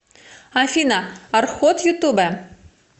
афина арход ютуб